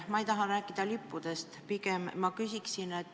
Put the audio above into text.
Ma ei taha rääkida lippudest, ma hoopis küsin sellist asja.